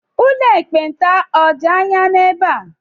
Ụlọ ekpenta ọ̀ dị anya n'ebe a?